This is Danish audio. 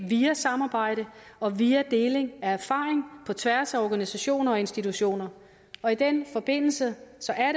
via samarbejde og via deling af erfaring på tværs af organisationer og institutioner og i den forbindelse